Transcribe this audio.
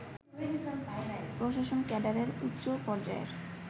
প্রশাসন ক্যাডারের উচ্চ পর্যায়ের